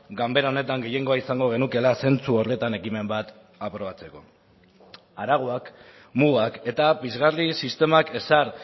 ganbera honetan gehiengoa izango genukeela zentzu horretan ekimen bat aprobatzeko arauak mugak eta pizgarri sistemak ezar